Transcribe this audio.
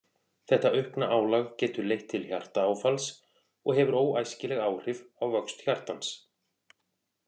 Þetta aukna álag getur leitt til hjartaáfalls og hefur óæskileg áhrif á vöxt hjartans.